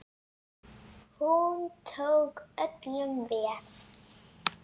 Hún tók öllum vel.